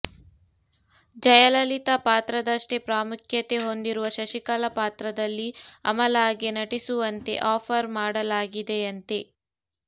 ಜಯಲಲಿತಾ ಪಾತ್ರದಷ್ಟೇ ಪ್ರಾಮುಖ್ಯತೆ ಹೊಂದಿರುವ ಶಶಿಕಲಾ ಪಾತ್ರದಲ್ಲಿ ಅಮಲಾಗೆ ನಟಿಸುವಂತೆ ಆಫರ್ ಮಾಡಲಾಗಿದೆಯಂತೆ